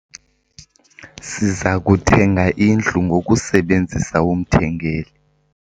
Siza kuthenga indlu ngokusebenzisa umthengeli.